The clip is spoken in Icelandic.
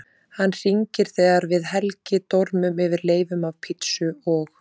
Hann hringir þegar við Helgi dormum yfir leifum af pizzu og